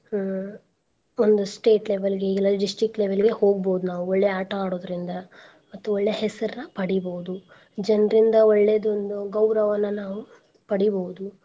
ಹ್ಮ್ ಒಂದ್ state level ಗೆ ಇಲ್ಲಾ district level ಗೆ ಹೋಗ್ಬೋದ್ ನಾವ್ ಒಳ್ಳೆ ಆಟಾ ಆಡೋದ್ರಿಂದ ಮತ್ತು ಒಳ್ಳೆ ಹೆಸರ್ನ ಪಡಿಬೋಡು ಜನ್ರಿಂದ ಒಳ್ಳೇದ್ ಒಂದು ಗೌರವಾನ ನಾವು ಪಡಿಬೌದು.